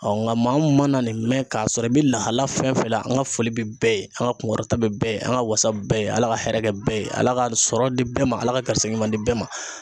nka maa mun mana nin mɛn k'a sɔrɔ i bɛ lahala fɛn fɛn la, an ka foli bɛ bɛɛ ye, an ka kunkɔrɔta bɛ bɛɛ ye, an ka wasa bɛɛ ye, ala ka hɛrɛ kɛ bɛɛ ye, ala ka sɔrɔ di bɛɛ ma, ala ka karisikɛ ɲuman di bɛɛ ma.